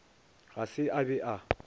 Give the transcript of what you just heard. ga se a be a